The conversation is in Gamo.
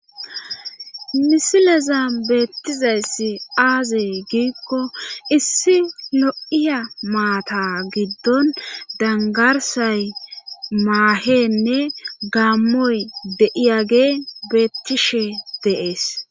Misileza beettizayssi aaziy giikko issi lo'iya maata giddon dangarsay maahenne gaammoy deiyagee beettishe deees